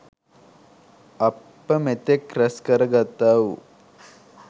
අප මෙතෙක් ‍රැස් කරගත්තාවු